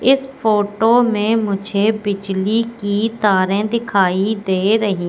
इस फोटो में मुझे बिजली की तारें दिखाई दे रही--